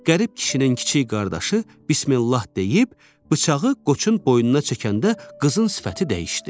Qərib kişinin kiçik qardaşı Bismillah deyib bıçağı qoçun boynuna çəkəndə qızın sifəti dəyişdi.